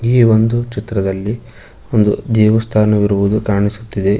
ಈ ಒಂದು ಚಿತ್ರದಲ್ಲಿ ಒಂದು ದೇವಸ್ಥಾನವಿರುವುದು ಕಾಣಿಸುತ್ತಿದೆ.